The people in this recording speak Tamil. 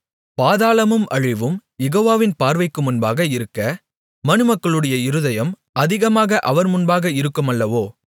பாதாளமும் அழிவும் யெகோவாவின் பார்வைக்கு முன்பாக இருக்க மனுமக்களுடைய இருதயம் அதிகமாக அவர் முன்பாக இருக்குமல்லவோ